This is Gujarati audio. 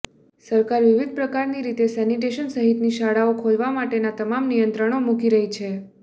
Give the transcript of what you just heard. સરકાર વિવિધ પ્રકારની રીતે સેનિટેશન સહિતની શાળાઓ ખોલવા માટેના તમામ નિયંત્રણો મૂકી રહી છે